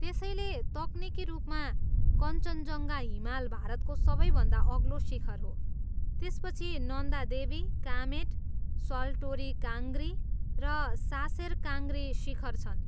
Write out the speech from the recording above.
त्यसैले, तकनिकी रूपमा कञ्चनजङ्घा हिमाल भारतको सबैभन्दा अग्लो शिखर हो, त्यसपछि नन्दा देवी, कामेट, सल्टोरो काङ्ग्री र सासेर काङ्ग्री शिखर छन्।